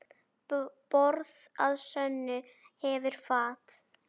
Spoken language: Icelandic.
Borð að sönnu hefur fat.